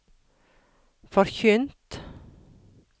forkynt